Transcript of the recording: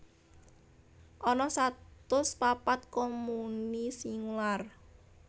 Ana satus papat komuni singular